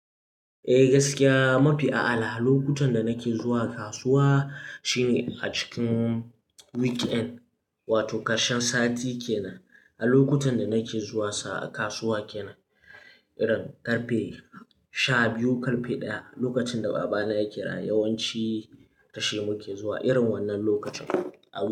Eh gaskiya mafi a'ala lokutan da nake zuwa kasuwa shine a cikin weekend wato ƙarshen sati kenan. A lokutan da nake zuwa kasuwa kenan irin karfe sha biyu karfe ɗaya. Lokacin da baba na yake raye yawanci da shi muke zuwa irin wannan lokacin.